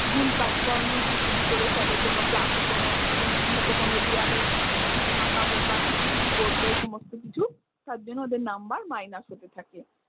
ভুল কাজকর্ম যদি কিছু করে ফেলে কোনো class এ কোনো নোংরা হয়ত কোনো দেওয়ালে যদি আঁকা বোঁকা কিছু মিছু করলো এই সমস্ত কিছু তার জন্য ওদের number minus হতে থাকে।